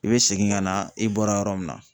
I be segin ka na i bɔra yɔrɔ min na.